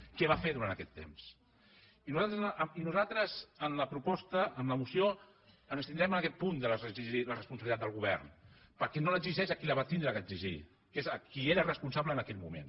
què va fer durant aquest temps i nosaltres en la en la moció ens abstindrem en aquest punt d’exigir la responsabilitat del govern perquè no l’exigeix a qui la va haver d’exigir que és a qui n’era responsable en aquell moment